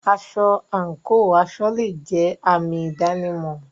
Aṣọ/àǹkò aṣọ le è jẹ́ àmì ìdánimọ̀.